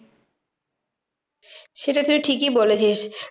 সেটা তুই ঠিকই বলেছিস।